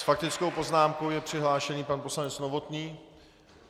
S faktickou poznámkou je přihlášen pan poslanec Novotný.